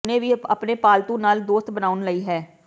ਹੁਣ ਤੁਹਾਨੂੰ ਹੁਣੇ ਹੀ ਆਪਣੇ ਪਾਲਤੂ ਨਾਲ ਦੋਸਤ ਬਣਾਉਣ ਲਈ ਹੈ